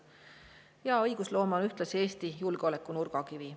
Hea õigusloome on ühtlasi Eesti julgeoleku nurgakivi.